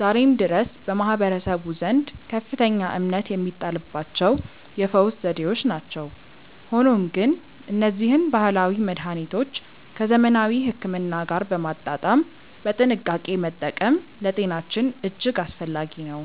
ዛሬም ድረስ በማህበረሰቡ ዘንድ ከፍተኛ እምነት የሚጣልባቸው የፈውስ ዘዴዎች ናቸው። ሆኖም ግን እነዚህን ባህላዊ መድኃኒቶች ከዘመናዊ ሕክምና ጋር በማጣጣም በጥንቃቄ መጠቀም ለጤናችን እጅግ አስፈላጊ ነው።